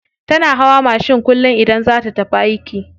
Tana hawa mashin kullum idan za ta tafi aiki.